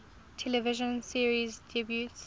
television series debuts